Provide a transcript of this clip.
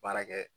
Baara kɛ